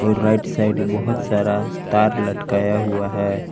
Right side बहुत सारा तार लटकता हुआ है।